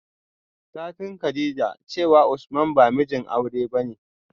satin kadijah cewa usman ba mijin aure bane